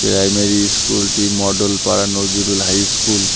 Primary ইস্কুলটি Mondal Para Nazrul high school.